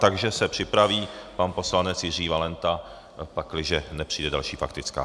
Takže se připraví pan poslanec Jiří Valenta, pakliže nepřijde další faktická.